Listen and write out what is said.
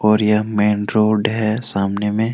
और यह main road है सामने मे ।